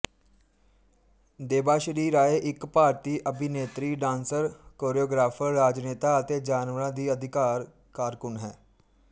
ਦੇਬਾਸ਼੍ਰੀ ਰਾਏ ਇੱਕ ਭਾਰਤੀ ਅਭਿਨੇਤਰੀ ਡਾਂਸਰ ਕੋਰੀਓਗ੍ਰਾਫਰ ਰਾਜਨੇਤਾ ਅਤੇ ਜਾਨਵਰਾਂ ਦੀ ਅਧਿਕਾਰ ਕਾਰਕੁਨ ਹੈ